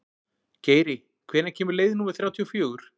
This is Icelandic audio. Geiri, hvenær kemur leið númer þrjátíu og fjögur?